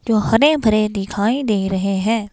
जो हरे-भरे दिखाई दे रहे हैं।